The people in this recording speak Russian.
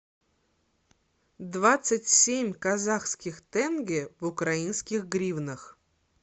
двадцать семь казахских тенге в украинских гривнах